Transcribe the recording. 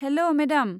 हेल' madam.